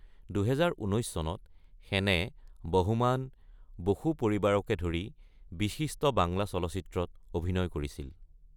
২০১৯ চনত সেনে বহোমান, বসু পৰিবাৰকে ধৰি বিশিষ্ট বাংলা চলচিত্ৰত অভিনয় কৰিছিল।